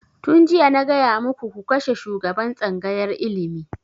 Tun jiya na gaya muku ku kashe shugaban tsangayar ilimi!